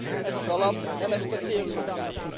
Ez az alap nem ezt a célt szolgálja.